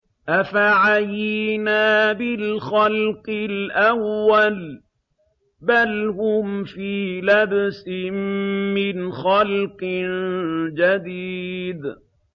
أَفَعَيِينَا بِالْخَلْقِ الْأَوَّلِ ۚ بَلْ هُمْ فِي لَبْسٍ مِّنْ خَلْقٍ جَدِيدٍ